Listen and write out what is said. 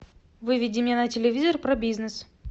выведи мне на телевизор про бизнес